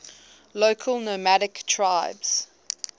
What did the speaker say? local nomadic tribes